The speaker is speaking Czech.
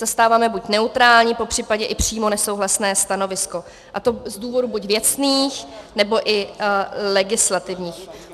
Zastáváme buď neutrální, popřípadě i přímo nesouhlasné stanovisko, a to z důvodů buď věcných, nebo i legislativních.